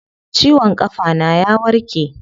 Ciwon kafa na ya warke.